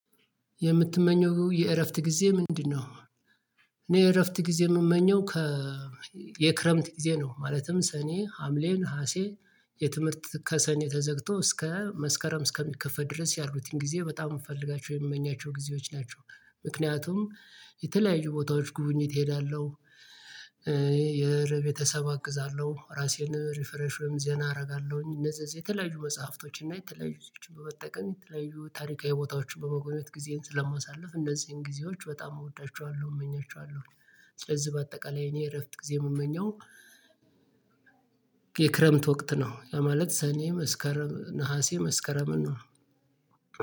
የምትመኘው የእረፍት ጊዜ ምንድነው? እኔ የእረፍት ጊዜ የምመኘው ከ የክረምት ጊዜ ነው። ማለትም ሰኔ ሀምሌ ንሀሴ። የትምህርት ከሰኔ ተዘግቶ እስከ መስከረም እስከሚከፈት ድረስ ያሉትን ጊዜ በጣም የምፈልጋቸው የምመኛቸው ጊዜዎች ናቸው። ምክንያቱም የተለያዩ ቦታዎች ጉብኝት እሄዳለሁ። የረቤተሰብ አግዛለሁ ራሴን ሪፈረሽም ዘና አደርጋለሁኝ። እነዚህ እዚህ የተለያዩ መጽሐፍቶች እና የተለያዩ ሰዎችን በመጠቀም የተለያዩ ታሪካዊ ቦታዎችን በመጎብኘት ጊዜን ስለማሳልፍ እንደዚህን ጊዜዎች በጣም እወዳቸዋለሁ እመኛቸዋለሁ። ስለዚህ በአጠቃላይ እኔ እረፍት ጊዜ የምመኘው የክረምት ወቅት ነው። ማለት ሰኔ መስከረም ነሀሴ መስከረምን ነው።